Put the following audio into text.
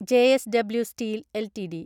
JSW steel LTD